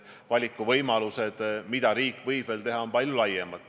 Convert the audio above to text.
Valikuvõimalused, mida riik võib veel teha, on palju laiemad.